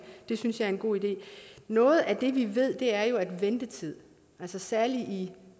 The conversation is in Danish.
det synes jeg er en god idé noget af det vi ved er jo at ventetid særlig i